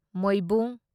ꯃꯣꯢꯕꯨꯡ